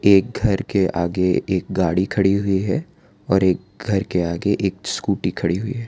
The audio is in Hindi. एक घर के आगे एक गाड़ी खड़ी हुई है और एक घर के आगे एक स्कूटी खड़ी हुई है।